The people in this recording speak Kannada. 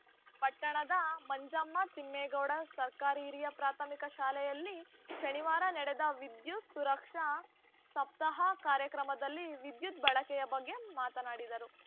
ಪಟ್ಟಣದ ಮಂಜಮ್ಮ ತಿಮ್ಮೇಗೌಡ ಸರ್ಕಾರಿ ಹಿರಿಯ ಪ್ರಾಥಮಿಕ ಶಾಲೆಯಲ್ಲಿ ಶನಿವಾರ ನಡೆದ ವಿದ್ಯುತ್‌ ಸುರಕ್ಷಾ ಸಪ್ತಾಹ ಕಾರ್ಯಕ್ರಮದಲ್ಲಿ ವಿದ್ಯುತ್‌ ಬಳಕೆಯ ಬಗ್ಗೆ ಮಾತನಾಡಿದರು